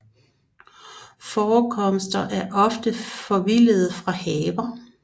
Forekomster er ofte forvildede fra haver